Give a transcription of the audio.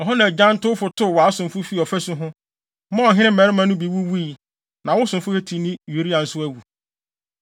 Ɛhɔ na agyantowfo tow wʼasomfo fii ɔfasu ho, maa ɔhene mmarima no bi wuwui. Na wo somfo Hetini Uria nso awu.”